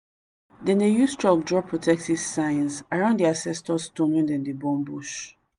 then dey use chalk draw protective signs around the ancestor stone when them dey burn bush.